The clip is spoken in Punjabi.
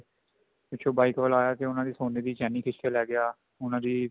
ਪਿੱਛੋ bike ਵਾਲਾ ਆਇਆ ਉਹਨਾ ਦੀ ਸੋਨੇ ਦੀ ਚੇਨੀ ਖਿੱਚ ਕੇ ਲੈ ਗਿਆ